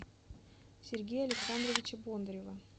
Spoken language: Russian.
сергея александровича бондарева